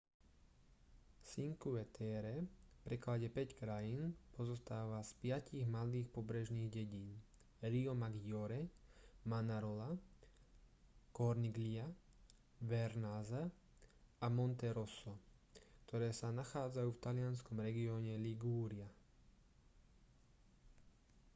cinque terre v preklade päť krajín pozostáva z piatich malých pobrežných dedín riomaggiore manarola corniglia vernazza a monterosso ktoré sa nachádzajú v talianskom regióne ligúria